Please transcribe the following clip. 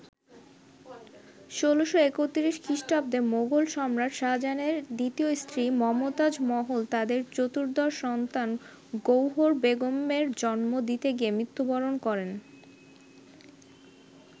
১৬৩১ খ্রিস্টাব্দে মোগল সম্রাট শাহজাহানের দ্বিতীয় স্ত্রী মমতাজ মহল তাদের চতুর্দশ সন্তান গৌহর বেগমের জন্ম দিতে গিয়ে মৃত্যুবরণ করেন।